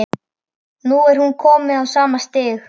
Nú er hún komin á sama stig.